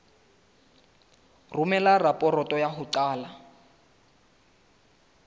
romela raporoto ya ho qala